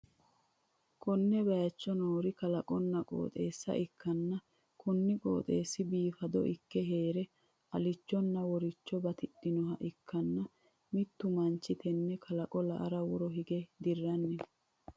konne bayicho noori kalaqonna qoxeessa ikkanna, kuni qooxeessi biifado ikke hee're alillichonna worirricho batidhinoha ikkanna, mittu manchi tenne kalaqo la'ara woro hige dirranni no.